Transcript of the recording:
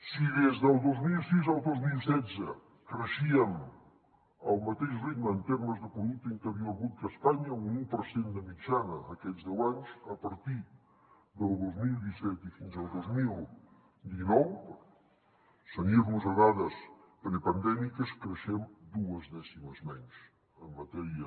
si des del dos mil sis al dos mil setze creixíem al mateix ritme en termes de producte interior brut que espanya un u per cent de mitjana aquests deu anys a partir del dos mil disset i fins al dos mil dinou per cenyir nos a dades prepandèmiques creixem dues dècimes menys en matèria